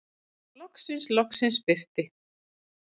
Loksins, loksins birti.